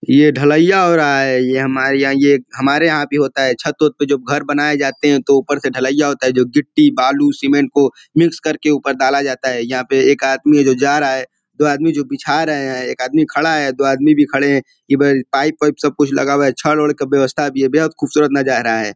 ये ढलईयां हो रहा है ये हमारे यहाँ हमारे यहाँ भी होता है छत वत पे जो घर बनाये जाते हैं तो उपर से ढलईयां होता है जो गिट्टी बालू सीमेंट को उपर मिक्स करके ऊपर डाला जाता है यहाँ पे एक आदमी है जो जा रहा है दो आदमी जो बीछा रहे हैं एक आदमी खड़ा है दो आदमी भी खड़े हैं ईब पाइप उईप सब कुछ लगा हुआ है छड ओड़ की भी वयवसता है बेहद खूबसूरत नजारा है।